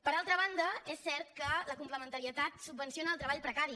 per altra banda és cert que la complementarietat subvenciona el treball precari